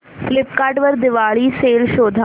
Flipkart वर Diwali sale शोधा